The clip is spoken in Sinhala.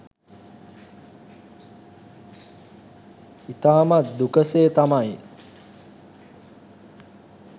ඉතාමත් දුක සේ තමයි